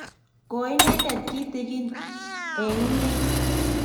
koi inendet kitegen eng' inyr